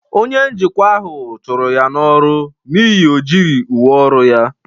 Onye njikwa ahụ chụrụ ya n'ọrụ n'ihi na o yighị uwe ọrụ ya.